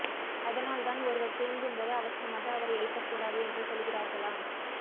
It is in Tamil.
அதனால் தான் ஒருவர் தூங்கும்போது அவசரமாக அவரை எழுப்பக்கூடாது என்று சொல்கிறார்களாம்